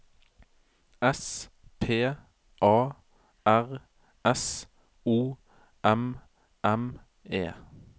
S P A R S O M M E